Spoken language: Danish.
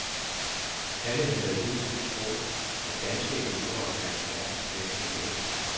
Alle havde hidtil troet, at danske elever var blandt verdens bedste læsere.